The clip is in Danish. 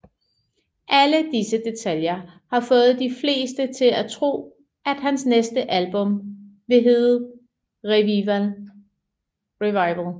Alle disse detaljer har fået de fleste til at tro at hans næste album vil hedde Revival